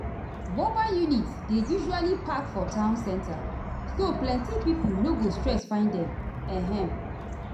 mobile units dey usually park for town center so plenty pipo no go stress find them. um